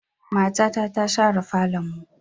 Matata ta share falonmu.